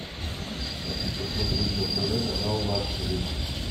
хочу посмотреть на тв канал лакшери